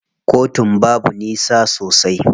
Kotun babu nisa sosai.